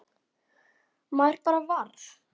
Maður bara varð